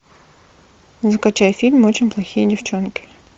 закачай фильм очень плохие девчонки